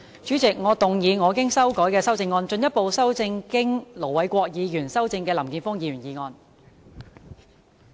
主席，我動議我經修改的修正案，進一步修正經盧偉國議員修正的林健鋒議員議案。